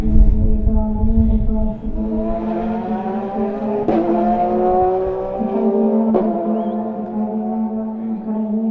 उधर गेट पे एक आदमी और एक औरत सी खड़ी हुई दिखाई दे रही है इधर के गेट पे एक और आदमी और एक औरत दिखाई दे रहे है और दो पुलिस वाले दिखाई दे रहे है ग्राउन्ड में खड़े हुए।